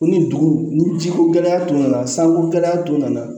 Ko ni dugu ni ji ko gɛlɛya tun nana san ko gɛlɛya tun nana